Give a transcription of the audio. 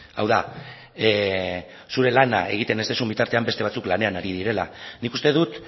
hau da zure lana egiten ez duzun bitartean beste batzuk lanean ari direla nik uste dut